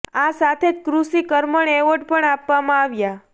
આ સાથે જ કૃષિ કર્મણ એવોર્ડ પણ આપવામાં આવ્યા